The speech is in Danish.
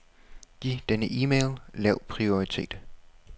Giv denne e-mail lav prioritet.